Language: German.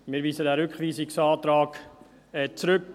Wir weisen diesen Rückweisungsantrag zurück.